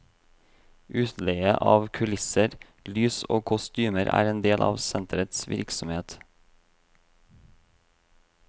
Utleie av kulisser, lys og kostymer er en del av senterets virksomhet.